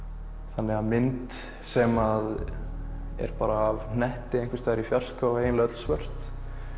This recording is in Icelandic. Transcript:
þannig að mynd sem er bara í hnetti einhvers staðar í fjarska og er eiginlega öll svört